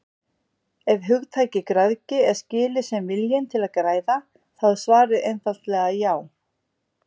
Ef hugtakið græðgi er skilið sem viljinn til að græða þá er svarið einfaldlega já.